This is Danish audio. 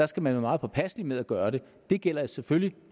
skal være meget påpasselig med at gøre det det gælder selvfølgelig